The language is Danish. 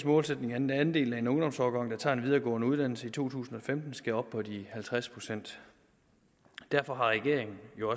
målsætning at den andel af en ungdomsårgang der tager en videregående uddannelse i to tusind og femten skal op på de halvtreds procent derfor har regeringen